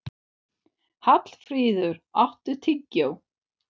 Hallfríður, áttu tyggjó?